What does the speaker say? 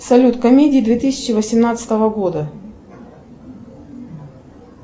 салют комедии две тысячи восемнадцатого года